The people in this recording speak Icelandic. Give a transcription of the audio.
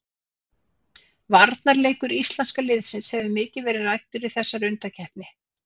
Varnarleikur íslenska liðsins hefur mikið verið ræddur í þessari undankeppni.